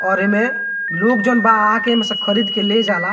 और एमे लोग जॉन बा आके एहमेसे खरीद के ले जाला।